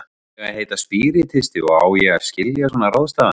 Ég á að heita spíritisti og ég á að skilja svona ráðstafanir.